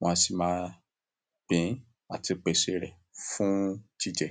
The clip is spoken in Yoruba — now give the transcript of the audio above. wọn a sì má gbìn àti pèsè rẹ̀ fún jíjẹ.